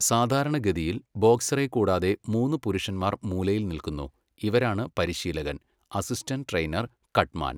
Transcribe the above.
സാധാരണഗതിയിൽ, ബോക്സറെ കൂടാതെ മൂന്ന് പുരുഷന്മാർ മൂലയിൽ നിൽക്കുന്നു, ഇവരാണ് പരിശീലകൻ, അസിസ്റ്റന്റ് ട്രെയിനർ, കട്ട്മാൻ.